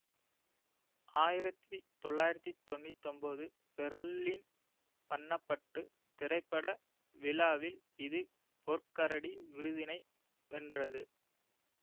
ஆயிரத்தி தொள்ளாயிரத்தி தொன்னூத்தி ஒன்போது பேர்லின் பன்னபட்டு திரைப்பட விழாவில் இது பொற் கரடி விருதினை வென்றது